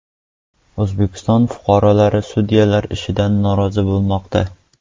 O‘zbekiston fuqarolari sudyalar ishidan norozi bo‘lmoqda .